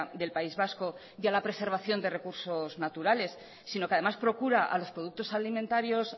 del país vasco y a la preservación de recursos naturales sino que además procura a los productos alimentarios